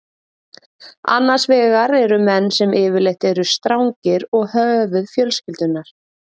Annars vegar eru menn sem yfirleitt eru strangir og höfuð fjölskyldunnar.